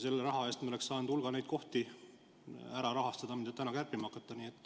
Selle raha eest me oleks saanud rahastada hulga neid kohti, mida te täna kärpima hakkate.